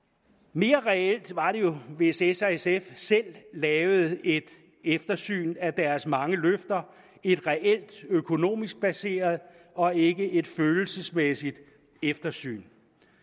mere reelt var det jo hvis s og sf selv lavede et eftersyn af deres mange løfter et reelt økonomisk baseret og ikke et følelsesmæssigt eftersyn